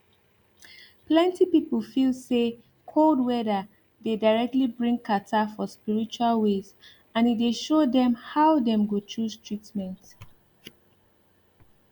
plenty people feel say cold weather dey directly bring catarrh for spiritual ways and e dey show dem how dem go choose treatment